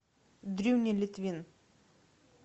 дрюня литвин